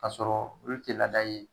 K'a sɔrɔ olu te laada ye